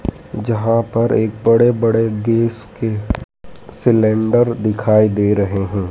जहां पर एक बड़े बड़े गैस के सिलेंडर दिखाई दे रहे हैं।